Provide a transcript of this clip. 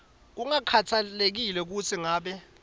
kungakhatsalekile kutsi ngabe